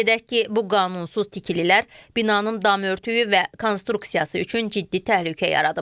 Qeyd edək ki, bu qanunsuz tikililər binanın dam örtüyü və konstruksiyası üçün ciddi təhlükə yaradıb.